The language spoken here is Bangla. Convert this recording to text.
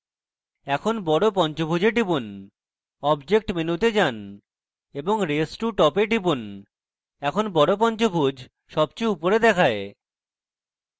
এখন বড় পঞ্চভুজে টিপুন object মেনুতে যান এবং raise to top এ টিপুন এখন বড় পঞ্চভুজ সবচেয়ে উপরে দেখায়